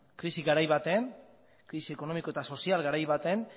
krisi ekonomiko eta sozial garai baten